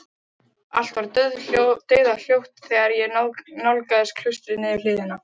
Allt var dauðahljótt þegar ég nálgaðist klaustrið niður hlíðina.